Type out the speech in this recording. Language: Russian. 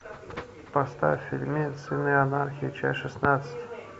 поставь фильмец сыны анархии часть шестнадцать